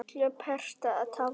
illu pretta táli